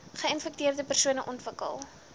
geinfekteerde persone ontwikkel